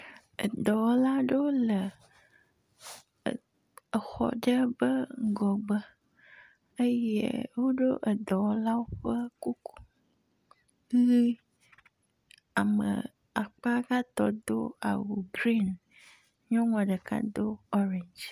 Edɔwɔla aɖewo le er exɔ aɖe ƒe ŋgɔgbe eye woɖo dɔwɔlawo ƒe kuku ʋi. Ame akpa gaŋtɔ do awu griŋ. Nyɔnua ɖeka do oriŋdzi.